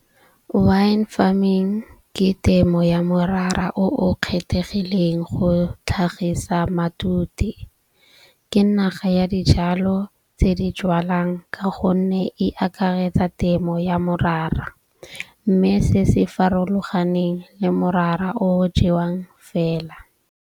Wine farming ke temo ya morara o o kgethegileng go tlhagisa matute. Ke naga ya dijalo tse di jwalwang ka gonne e akaretsa temo ya morara. Mme se se farologaneng le morara o jewang fela.